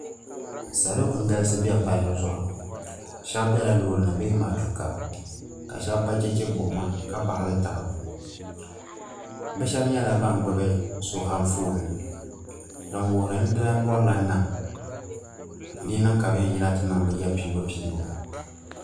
Salo n galisi be palli zuɣu sheba bela loori ni bee matuuka ka sheba ba cheche buɣima ka baɣali taba bɛ sheba nyɛla ban gbibi sheba anfooni din wuhiri ni di lana birila nam di yi niŋ ka bɛ yen yina ti niŋ bɛ ya piibu piibu.